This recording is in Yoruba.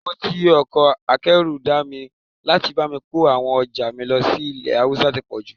Owó tí ọkọ̀ akẹ́rù dá mi láti bá mi kó àwọn ọjà mi lọ sí ilẹ̀ Haúsá tí pọ̀jù